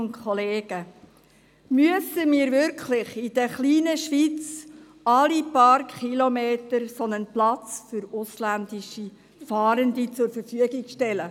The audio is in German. Müssen wir wirklich in der kleinen Schweiz alle paar Kilometer einen solchen Platz für ausländische Fahrende zur Verfügung stellen?